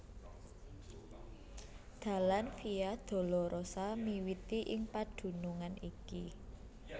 Dalan Via Dolorosa miwiti ing padunungan iki